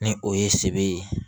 Ni o ye sebere ye